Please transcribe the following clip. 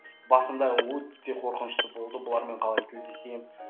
басында өте қорқынышты болды бұлармен қалай тілдесемін